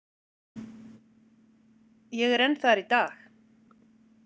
Ég er enn þar í dag.